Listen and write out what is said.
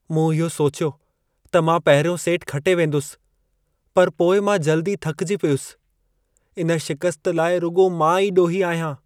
मूं इहो सोचियो त मां पहिरियों सेटु खटे वेंदुसि, पर पोइ मां जल्दी थकिजी पियुसि। इन शिकस्त लाइ रुॻो मां ई ॾोही आहियां।